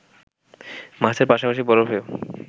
মাছের পাশাপাশি বরফেও